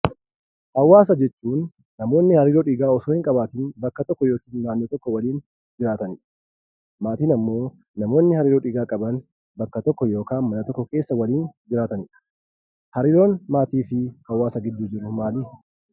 Hawaasa jechuun namootni hariiroo dhiigaa osoo hin qabaatiin bakka tokko yookiin naannoo tokko waliin jiraatanidha. Maatiin ammoo namoonni hariiroo dhiigaa qaban bakka tokko yookaan naannoo tokko keessa waliin jiraatanidha. Hariiroon maatii fi hawaasa gidduu jiru maalii?